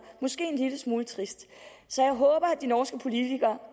måske en lille smule trist så jeg håber at de norske politikere